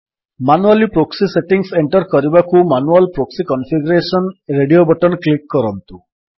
manually proxy settings enter କରିବାକୁ manual proxy configuration radio button click କରନ୍ତୁ